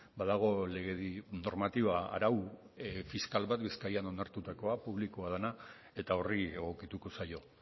badago legedi normatiba arau fiskal bat bizkaian onartutakoan publikoa dana eta horri egokituko zaio